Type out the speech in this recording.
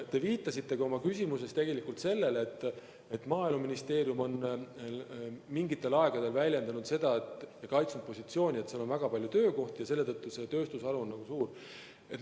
Te viitasite oma küsimuses tegelikult ka sellele, et Maaeluministeerium on mingil ajal kaitsnud positsiooni, et on väga palju töökohti ja see tööstusharu on suur.